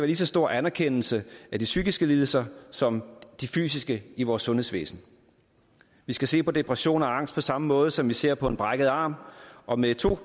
lige så stor anerkendelse af de psykiske lidelser som af de fysiske i vores sundhedsvæsen vi skal se på depression og angst på samme måde som vi ser på en brækket arm og med to